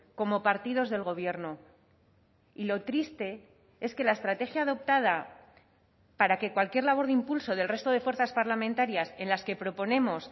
como partidos del gobierno y lo triste es que la estrategia adoptada para que cualquier labor de impulso del resto de fuerzas parlamentarias en las que proponemos